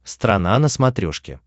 страна на смотрешке